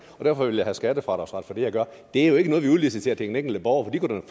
og derfor vil jeg have skattefradragsret for det jeg gør det er jo ikke noget vi udliciterer til den enkelte borger